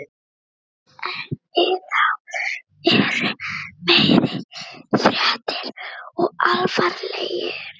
En það eru meiri fréttir og alvarlegri.